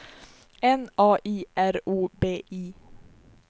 N A I R O B I